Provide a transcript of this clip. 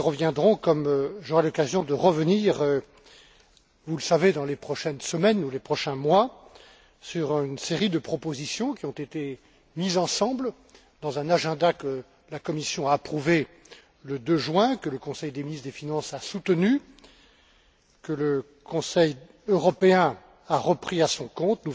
Nous y reviendrons, comme j'aurai l'occasion de revenir, vous le savez, dans les prochaines semaines ou les prochains mois, sur une série de propositions qui ont été mises ensemble dans un agenda que la Commission a approuvé le 2 juin, que le Conseil des ministres des finances a soutenu, que le Conseil européen a repris à son compte.